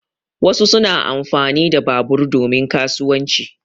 Wasu suna amfani da babur domin kasuwanci.